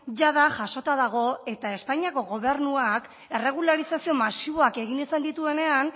jada jasota dago eta espainiako gobernuak erregularizazio masiboak egin izan dituenean